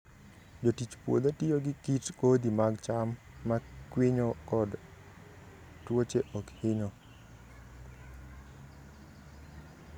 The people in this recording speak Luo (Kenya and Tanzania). Jotich puodho tiyo gi kit kodhi mag cham ma kwinyo kod tuoche ok hinyo.